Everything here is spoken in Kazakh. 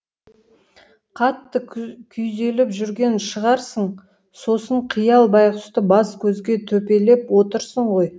қатты күйзеліп жүрген шығарсың сосын қиял байғұсты бас көзге төпелеп отырсың ғой